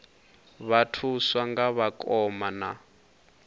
vha thuswa nga vhakoma na